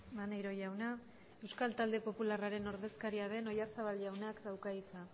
maneiro jauna euskal talde popularraren ordezkaria den oyarzabal jaunak dauka hitza